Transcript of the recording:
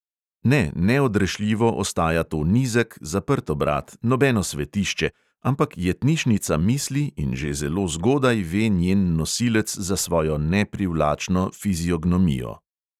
Ne, neodrešljivo ostaja to nizek, zaprt obrat, nobeno svetišče, ampak jetnišnica misli in že zelo zgodaj ve njen nosilec za svojo neprivlačno fiziognomijo.